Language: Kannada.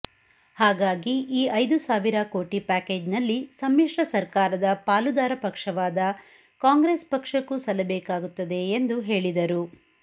ಹಾಗಾಗಿ ಈ ಐದು ಸಾವಿರ ಕೋಟಿ ಪ್ಯಾಕೇಜ್ನಲ್ಲಿ ಸಮ್ಮಿಶ್ರ ಸರ್ಕಾರದ ಪಾಲುದಾರ ಪಕ್ಷವಾದ ಕಾಂಗ್ರೆಸ್ ಪಕ್ಷಕ್ಕೂ ಸಲ್ಲಬೇಕಾಗುತ್ತದೆ ಎಂದು ಹೇಳಿದರು